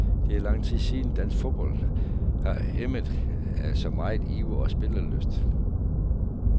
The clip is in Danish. Det er lang tid siden, dansk fodbold har emmet af så meget iver og spillelyst.